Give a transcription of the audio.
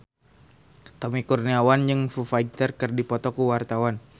Tommy Kurniawan jeung Foo Fighter keur dipoto ku wartawan